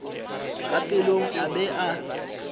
ka pelong a be a